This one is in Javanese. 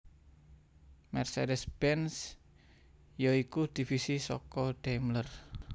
Mercedes Benz ya iku divisi saka Daimler